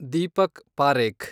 Deepak Parekh